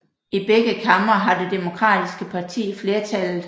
I begge kamre har det demokratiske parti flertallet